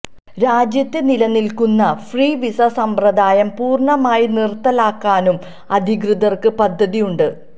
രാജ്യത്ത് നിലനില്ക്കുന്ന free visa സമ്പ്രദായം പൂര്ണമായി നിര്ത്തലാക്കാനും അധികൃതര്ക്ക് പദ്ധതിയുണ്ട്